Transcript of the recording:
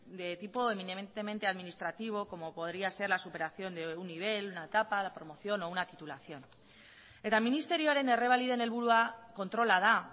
de tipo eminentemente administrativo como podría ser la superación de un nivel de una etapa la promoción o una titulación eta ministerioaren errebaliden helburua kontrola da